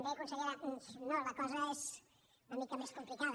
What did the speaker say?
bé consellera no la cosa és una mica més complicada